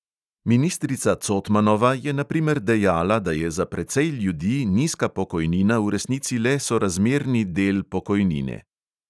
Ministrica cotmanova je na primer dejala, da je za precej ljudi nizka pokojnina v resnici le sorazmerni del pokojnine.